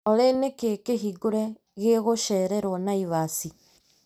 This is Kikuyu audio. Olĩ nĩkĩĩ kĩhingũre gĩgũcererwo Naĩvasĩ ?